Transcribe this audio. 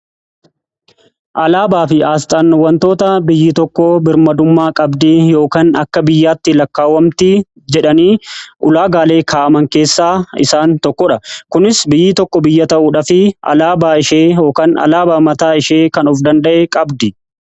Alaabaa fi asxaan wantoota biyyi tokko birmadummaa qabdii yookiin akka biyyaatti lakkaawwamti jedhanii ulaagaalee kaa'aman keessaa isaan tokko dha. Kunis biyyi tokko biyya ta'uudhaafi alaabaa yookaan alaabaa mataa ishee kan of danda'e qabdi.